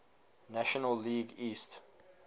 national league east